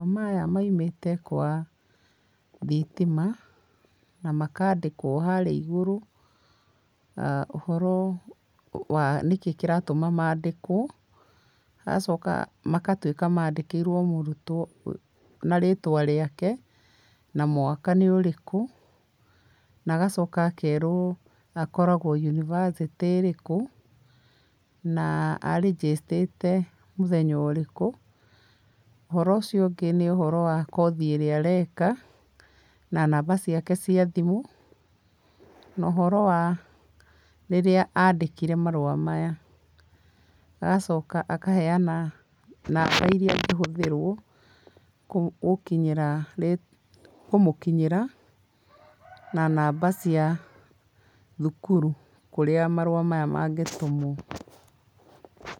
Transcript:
Maya maimĩte kwa thitima, na makandĩkwo harĩa igũru, ũhoro wa nĩkĩ kĩratũma mandĩkwo. Hagacoka magatuĩka mandĩkĩirwo mũrutwo na rĩtwa rĩake, na mwaka nĩ ũrĩkũ, na agacoka akerwo akoragwo university ĩrĩkũ, na arĩ register ĩte mũthenya ũrĩkũ. ũhoro ũcio ũngĩ nĩ ũhoro wa kothi ĩrĩa areka, na namba ciake cia thimũ, no ũhoro wa rĩrĩa andĩkire marũa maya. Agacoka akaheana namba iria angĩhũthĩrwo, gũkinyĩra, kũmũkinyĩra, na namba cia thukuru, kũrĩa marũa maya mangĩtũmwo.